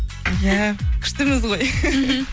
иә күштіміз ғой мхм